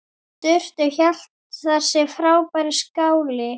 Surtur hét þessi frábæri skáli.